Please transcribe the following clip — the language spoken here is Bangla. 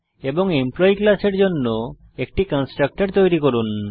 এবং এমপ্লয়ী ক্লাসের জন্য একটি কনস্ট্রাক্টর তৈরী করুন